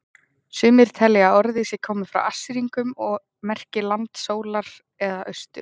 Sumir telja að orðið sé komið frá Assýringum og merki land sólar eða austur.